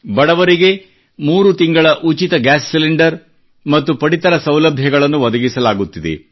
ಬಡವರಿಗೆ ಮೂರು ತಿಂಗಳ ಉಚಿತ ಗ್ಯಾಸ್ ಸಿಲಿಂಡರ್ ಮತ್ತು ಪಡಿತರ ಸೌಲಭ್ಯಗಳನ್ನು ಒದಗಿಸಲಾಗುತ್ತಿದೆ